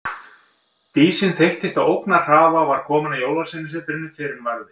Dísin þeyttist á ógnarhraða og var komin að Jólasveinasetrinu fyrr en varði.